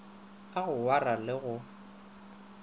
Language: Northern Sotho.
a go wayara le go